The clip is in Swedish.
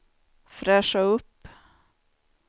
fräscha upp